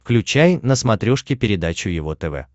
включай на смотрешке передачу его тв